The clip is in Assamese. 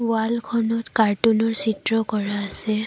ৱালখনত কাৰ্টুনৰ চিত্ৰ কৰা আছে।